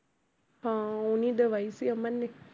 ਹਾਂ ਉਹਨੇ ਹੀ ਦਵਾਈ ਸੀ ਅਮਨ ਨੇ।